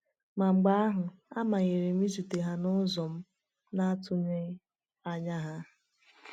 Ma mgbe ahụ, a manyere m izute ha n’ụzọ m na-atụghị anya ya.